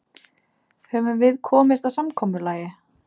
Höfum við komist að samkomulagi?